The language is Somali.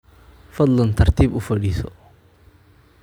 Fadlan tartib uu fadhiiso